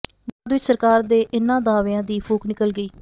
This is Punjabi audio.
ਬਾਅਦ ਵਿੱਚ ਸਰਕਾਰ ਦੇ ਇਨ੍ਹਾਂ ਦਾਅਵਿਆਂ ਦੀ ਫੂਕ ਨਿਕਲ ਗਈ